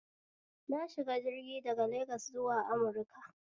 Na shiga jirgin daga Legas zuwa Amuruka